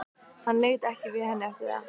Hann leit ekki við henni eftir það.